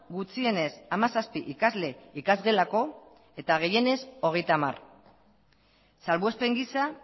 gutxienez hamazazpi ikasle ikasgelako eta gehienez hogeita hamar salbuespen gisa